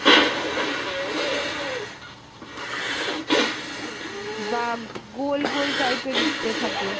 বা গোল গোল type এর উত্তে থাকে।